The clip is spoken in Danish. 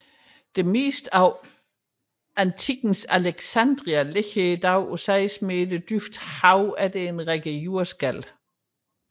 Det meste af antikkens Alexandria ligger i dag på seks meters dyb i havet efter en række jordskælv